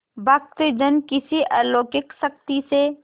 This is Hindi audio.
भक्तजन किसी अलौकिक शक्ति से